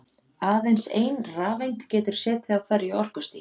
Aðeins ein rafeind getur setið á hverju orkustigi.